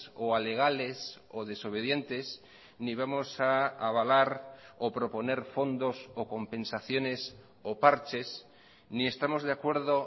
o alegales o desobedientes ni vamos a avalar o proponer fondos o compensaciones o parches ni estamos de acuerdo